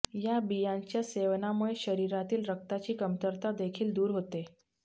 या बियांच्या सेवनामुळे शरीरातील रक्ताची कमतरता देखील दूर होते